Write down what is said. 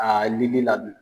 Aa lili la dun?